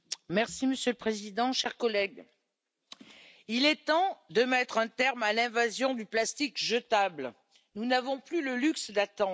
Monsieur le Président, chers collègues, il est temps de mettre un terme à l'invasion du plastique jetable, nous n'avons plus le luxe d'attendre.